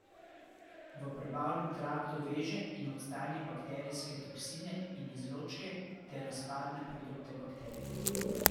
V prebavnem traktu veže in odstrani baktrijske toksine in izločke ter razpadne produkte bakterij.